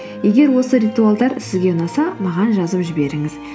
егер осы ритуалдар сізге ұнаса маған жазып жіберіңіз